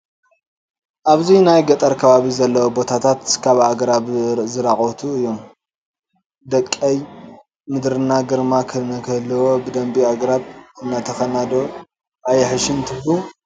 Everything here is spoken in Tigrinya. ኣብዚ ናይ ገጠር ከባቢ ዘለዎ ቦታታት ካብ ኣግራብ ዝተራቖቱ እዮም፡፡ ደቀይ ምድርና ግርማ ንክህልዎ ብልቢ ኣግራብ እንተተኸልና ዶ ኣየሕይሽን ትብሉ፡፡